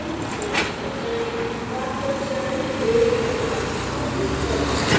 image पर जाएँ path पर जाएँ break apart पर click करें